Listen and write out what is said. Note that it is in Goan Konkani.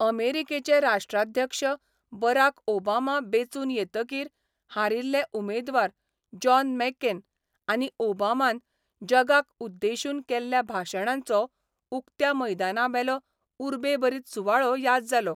अमेरिकेचे राष्ट्राध्यक्ष बराक ओबामा बेंचून येतकीर हारिल्ले उमेदवार जॉन मॅकेन आनी ओबामान जगाक उद्देशून केल्ल्या भाशणांचो उक्त्या मैदानाबेलो उर्बेभरीत सुवाळो याद जालो.